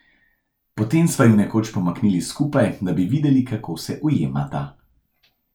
Potem sva ju nekoč pomaknili skupaj, da bi videli, kako se ujemata.